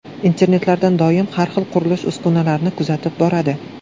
Internetlardan doim har xil, qurilish uskunalarini kuzatib boradi.